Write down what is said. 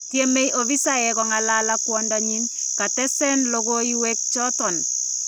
Tyemee opisaek kong'alal ak kwandanyin ,katees lokooyweek choton .